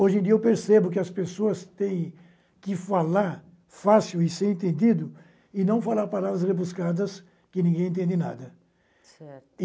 Hoje em dia eu percebo que as pessoas têm que falar fácil e ser entendido, e não falar palavras rebuscadas que ninguém entende nada. Certo